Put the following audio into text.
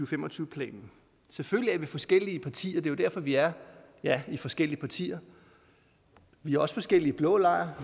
fem og tyve planen selvfølgelig er vi forskellige partier det er jo derfor vi er ja i forskellige partier vi er også forskellige i blå lejr